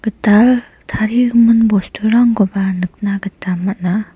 gital tarigimin bosturangkoba nikna gita man·a.